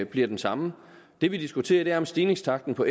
bliver den samme det vi diskuterer er om stigningstakten på